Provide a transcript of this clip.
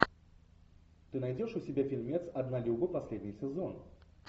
ты найдешь у себя фильмец однолюбы последний сезон